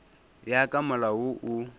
ya ka molao wo o